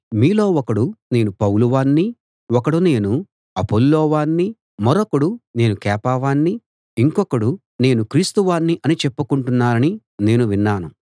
మీలో ఒకడు నేను పౌలు వాణ్ణి ఒకడు నేను అపొల్లో వాణ్ణి మరొకడు నేను కేఫా వాణ్ణి ఇంకొకడు నేను క్రీస్తు వాణ్ణి అని చెప్పుకుంటున్నారని నేను విన్నాను